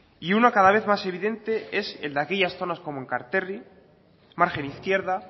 y una cada vez más evidente es el de aquellas zonas como enkarterri margen izquierda